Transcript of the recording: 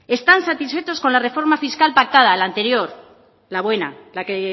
están satisfechos con la reforma fiscal pactada el anterior la buena la que